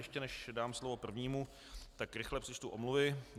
Ještě než dám slovo prvnímu, tak rychle přečtu omluvy.